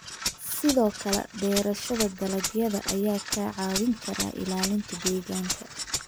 Sidoo kale, beerashada dalagyada ayaa kaa caawin kara ilaalinta deegaanka.